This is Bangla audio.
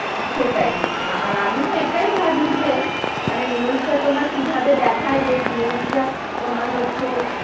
সেটাই, আর আমিও এটাই ভাবি যে মানে news টা তোমার কি ভাবে দেখায় যে news টা তোমার হচ্ছে,